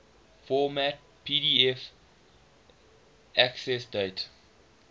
format pdf accessdate